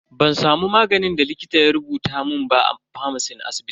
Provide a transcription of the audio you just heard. Ban samu maganin da likita ya rubuta mun ba a famacin asibitin.